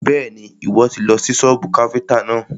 Bẹ́ẹ̀ni, Ìwọ́ tì lọ sí sọ́bù káfíntà náà.